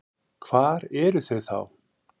Hvar eru þau þá?